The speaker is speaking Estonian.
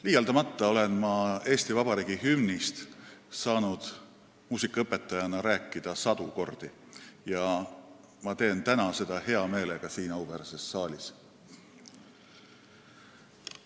Liialdamata olen ma Eesti Vabariigi hümnist saanud muusikaõpetajana rääkida sadu kordi ja ma teen täna seda hea meelega siin auväärses saalis.